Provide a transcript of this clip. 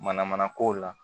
Mana mana kow la